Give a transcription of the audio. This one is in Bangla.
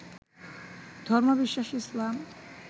ধর্মবিশ্বাস ইসলাম